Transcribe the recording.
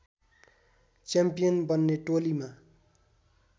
champion बन्ने टोलीमा